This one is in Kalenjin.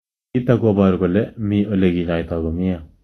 Nitok ko poru kole me ole kinyoitoi komie.